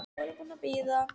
Nú er ég búin að bíða.